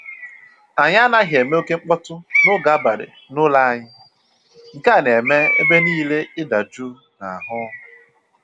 Anyị anaghị eme oke mkpọtụ n'oge abalị n'ụlọ anyị, nke a na-eme ebe niile ịda jụụ n'ahụ